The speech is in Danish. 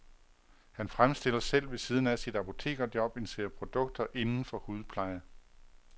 Han fremstiller selv ved siden af sit apotekerjob en serie produkter inden for hudpleje.